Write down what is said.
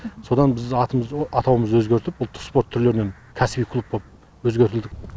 содан біз атауымызды өзгертіп ұлттық спорт түрлерінен кәсіби клуб боп өзгертілдік